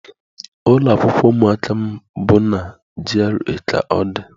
Ụlọ akwụkwọ ụmụaka m bụ na G.R.A ka ọ dị